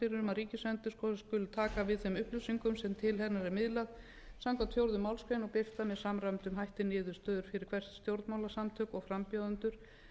ríkisendurskoðun skuli taka við þeim upplýsingum sem til hennar er miðlað samkvæmt fjórðu málsgrein og birt er með samræmdum hætti niðurstöðu fyrir bestu stjórnmálasamtök og frambjóðendur